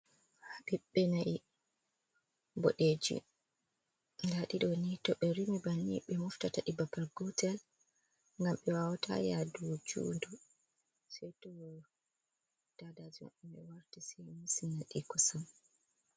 Habibbe na'i bodeji. Dadidoni to be rimi banni be moftata di babal gotel, gam be wawata yadu juudu, se to DADAJIMABBE warti se musinadi kusam.